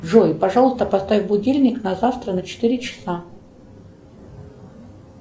джой пожалуйста поставь будильник на завтра на четыре часа